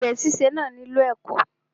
Àgbè síse náà nílò ẹ̀kọ́.